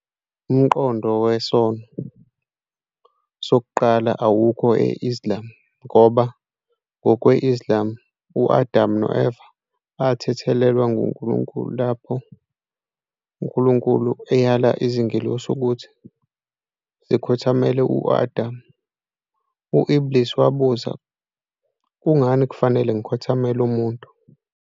Umqondo "wesono sokuqala" awukho e- Islam ngoba, ngokwe-Islam, u-Adamu no-Eva bathethelelwa nguNkulunkulu. Lapho uNkulunkulu eyala izingelosi ukuthi zikhothamele u-Adam, u- Iblīs wabuza, "Kungani kufanele ngikhothamele umuntu?